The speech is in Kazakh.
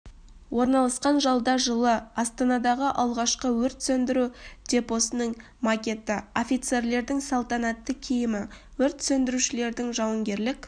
орналасқан залда жылы астанадағы алғашқы өрт сөндіру депосының макеті офицерлердің салтанатты киімі өрт сөндірушердің жауынгерлік